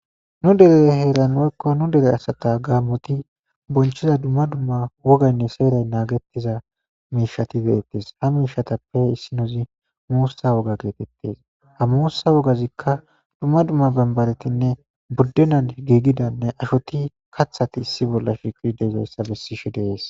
Nu dere heeranoekko nu dere asata gaammoti bonchiza dumma dumma wogaynne seeray naagettiza miishati deettes ha miishatappe issi nozi muussa woga geetettes ha muussa wogazikka dumma dumma bambaretinne buddean giigidanne ashoti kathati issi bolla shikid deizayssa bessishe dees.